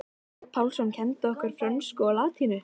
Sveinn Pálsson kenndi okkur frönsku og latínu.